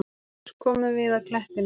Loks komum við að klettinum.